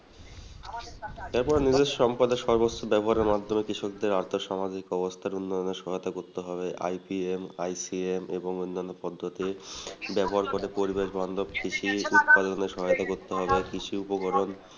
তারপর ব্যবহারের মাধ্যমে কৃষকদের আর্থিক সামাজিক অবস্থা উন্নয়নের সহায়তা করতে হবে এবং অন্যান্য পদ্ধতি ব্যবহার করে পরিবেশবান্ধব সৃষ্টি উৎপাদনের সহায়তা করতে হবে কৃষি উপকরণ